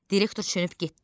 Direktor çönüb getdi.